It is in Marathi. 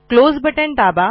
क्लोज बटण दाबा